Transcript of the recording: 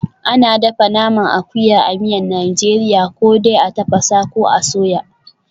Ana dafa naman akuya a miyan Najeriya ko dai a tafasa, ko a soya.